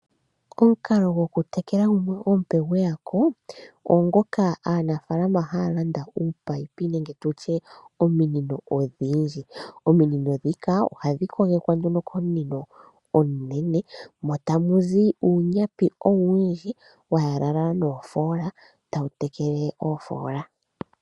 Omukalo goku tekela gumwe omupe gweya ko, ogo ngoka aanafaalama haya landa uupayipi(ominino) odhindji. Ominino dhika ohadhi kogekwa komunino omunene, mo tamu zi uunyapi owundji wa yalalala noofola tawu tekele oofola.